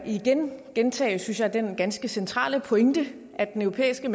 igen gentage den ganske centrale pointe at den europæiske